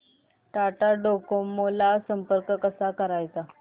Tata Docomo ला संपर्क कसा करायचा